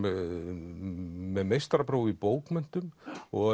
með meistarapróf í bókmenntum og